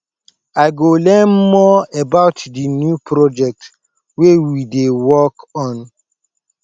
i go learn more about di new project wey we dey work on